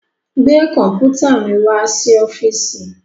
Gbé kọ̀ḿpùtà mi wá sí ọ́fíísì!